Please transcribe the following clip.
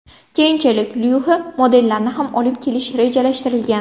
Keyinchalik Luxe modellarni ham olib kelish rejalashtirilgan.